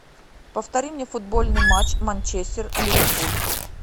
повтори мне футбольный матч манчестер ливерпуль